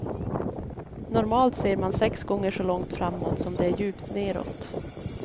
Normalt ser man sex gånger så långt framåt som det är djupt nedåt.